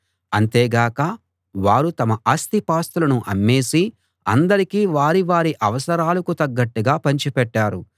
అంతేగాక వారు తమ ఆస్తిపాస్తులను అమ్మేసి అందరికీ వారి వారి అవసరాలకు తగ్గట్టుగా పంచిపెట్టారు